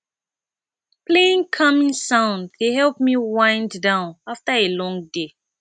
playing calming sounds dey help me wind down after a long day